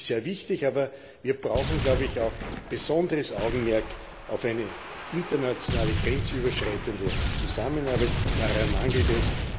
Das ist sehr wichtig, aber wir brauchen auch besonderes Augenmerk auf eine internationale grenzüberschreitende Zusammenarbeit, daran mangelt